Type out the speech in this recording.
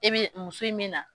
I bɛ muso in min na.